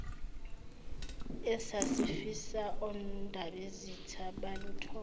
esasifisa ondabezitha baluthole